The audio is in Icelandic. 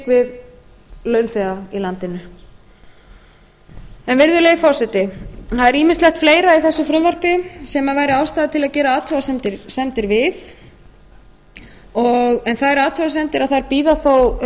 við launþega í landinu virðulegi forseti það er ýmislegt fleira í þessu frumvarpi sem væri ástæða til að gera athugasemdir við þær athugasemdir bíða þó